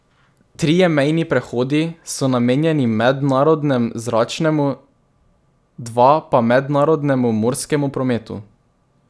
Trije mejni prehodi so namenjeni mednarodnemu zračnemu, dva pa mednarodnemu morskemu prometu.